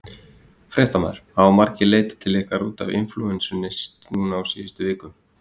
Fréttamaður: Hafa margir leitað til ykkar út af inflúensunni núna á síðustu vikum?